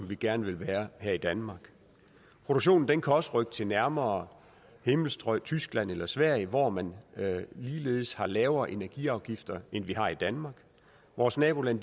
vi gerne vil være her i danmark produktionen kan også rykke til nærmere himmelstrøg tyskland eller sverige hvor man ligeledes har lavere energiafgifter end vi har i danmark vores nabolande